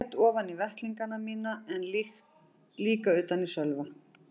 Ég grét ofan í vettlingana mína en líka utan í Sölva.